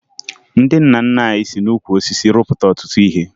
Ndị nna nna anyị si n'ukwu osisi rụpụta ọtụtụ ihe